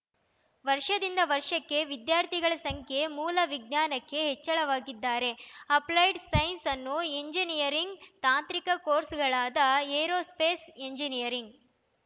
ವರ್ಷದಿಂದ ವರ್ಷಕ್ಕೆ ವಿದ್ಯಾರ್ಥಿಗಳ ಸಂಖ್ಯೆ ಮೂಲ ವಿಜ್ಞಾನಕ್ಕೆ ಹೆಚ್ಚಳವಾಗಿದ್ದಾರೆ ಅಪ್ಲೈಡ್‌ ಸೈನ್ಸ್‌ ಅನ್ನು ಎಂಜಿನಿಯರಿಂಗ್‌ ತಾಂತ್ರಿಕ ಕೋರ್ಸ್‌ಗಳಾದ ಏರೋಸ್ಪೇಸ್‌ ಎಂಜಿನಿಯರಿಂಗ್‌